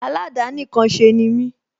Aládàánìkanṣe ni mí